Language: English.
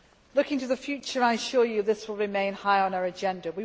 Looking to the future, I assure you this will remain high on our agenda.